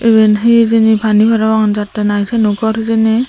iben he hejeni pani parapang jattey nahi siyano gor hejeni.